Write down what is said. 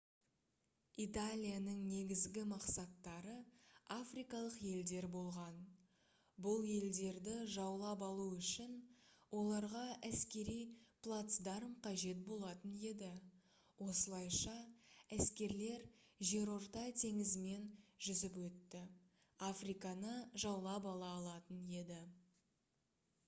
италияның негізгі мақсаттары африкалық елдер болған бұл елдерді жаулап алу үшін оларға әскери плацдарм қажет болатын еді осылайша әскерлер жерорта теңізімен жүзіп өтіп африканы жаулап ала алатын еді